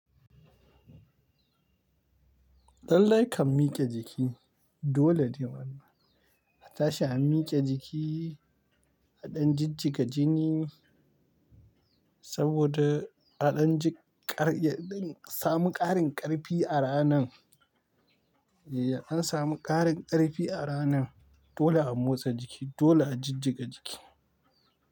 Lallai kam miƙe jiki, dole ne wannan. Ata shi a miƙe jiki, a ɗan jijjiga jini saboda aɗan ji ƙar, a samu ƙarin ƙarfi a ranan. Ya ɗan samu ƙarin ƙarfi a ranan dole a motsa jiki, dole a jijjiga jiki.